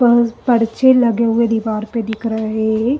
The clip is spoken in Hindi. प पर्चे लगे हुए दीवार पर दिख रे हैं।